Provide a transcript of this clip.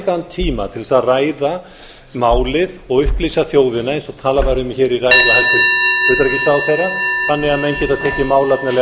nægan tíma til þess að ræða málið og upplýsa þjóðina eins og talað var um hér í ræðu hæstvirts utanríkisráðherra þannig að menn geta tekið málefnalega afstöðu til málsins samhliða sveitarstjórnarkosningunum